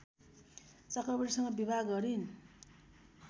चक्रवर्तीसँग विवाह गरिन्